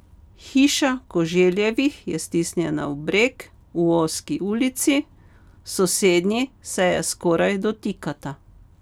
Hiša Koželjevih je stisnjena v breg, v ozki ulici, sosednji se je skoraj dotikata.